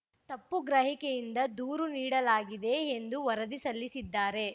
ತಪ್ಪು ಗ್ರಹಿಕೆಯಿಂದ ದೂರು ನೀಡಲಾಗಿದೆ ಎಂದು ವರದಿ ಸಲ್ಲಿಸಿದ್ದಾರೆ